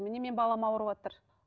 міне менің балам аурыватыр